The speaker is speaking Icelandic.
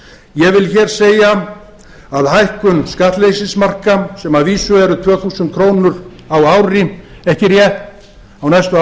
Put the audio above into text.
ég vil hér segja að hækkun skattleysismarka sem að vísu eru tvö þúsund krónur á ári ekki rétt á næstu